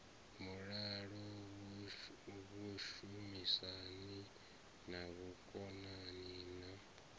mulalo vhushumisani na vhukonani na